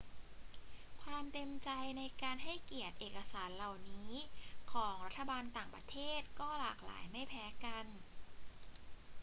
ความเต็มใจในการให้เกียรติเอกสารเหล่านี้ของรัฐบาลต่างประเทศก็หลากหลายไม่แพ้กัน